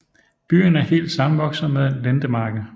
Byen er helt sammenvokset med Lendemarke